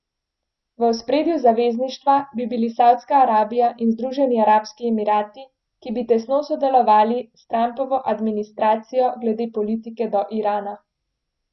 V ospredju zavezništva bi bili Savdska Arabija in Združeni arabski emirati, ki bi tesno sodelovali s Trumpovo administracijo glede politike do Irana.